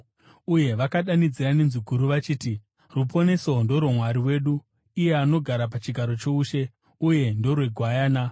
Uye vakadanidzira nenzwi guru vachiti: “Ruponeso ndorwaMwari wedu, anogara pachigaro choushe, uye ndorweGwayana.”